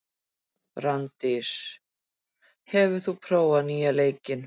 Branddís, hefur þú prófað nýja leikinn?